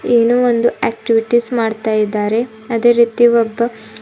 ಏನೋ ಒಂದು ಆಕ್ಟಿವಿಟೀಸ್ ಮಾಡ್ತಾಯಿದ್ದಾರೆ ಅದೇ ರೀತಿ ಒಬ್ಬ--